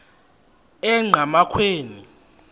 enqgamakhwe